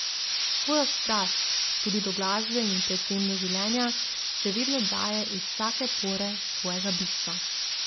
Svojo strast, tudi do glasbe in predvsem do življenja, še vedno daje iz vsake pore svojega bistva.